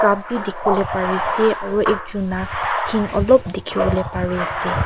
cup bi dikhiwole pari ase aro ekjun la dhen olop dikhiwole pare ase.